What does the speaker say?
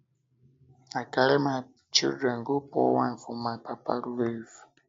um i carry um my children go pour wine for my um papa grave